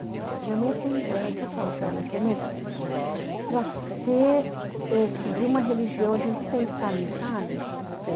Minha mãe, assim, ãh, aí que eu falo para ela, eu falo, mãe, para ser, é, seguir uma religião, a gente não tem que estar ali, sabe?